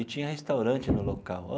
E tinha restaurante no local ó.